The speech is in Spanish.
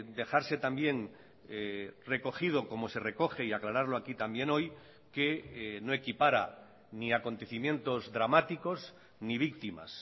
dejarse también recogido como se recoge y aclararlo aquí también hoy que no equipara ni acontecimientos dramáticos ni víctimas